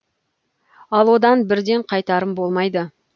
ал одан бірден қайтарым болмайды